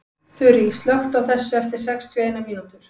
Þurý, slökktu á þessu eftir sextíu og eina mínútur.